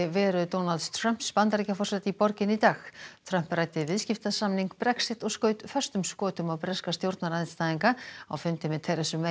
veru Donalds Trumps Bandaríkjaforseta í borginni í dag Trump ræddi viðskiptasamning Brexit og skaut föstum skotum á breska stjórnarandstæðinga á fundi með